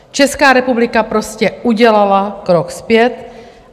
Česká republika prostě udělala krok zpět.